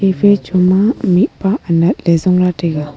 cafe chhoma mihpa anat ley jongla taiga.